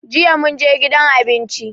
Jiya mun je gidan abinci.